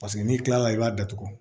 Paseke n'i kilala i b'a datugu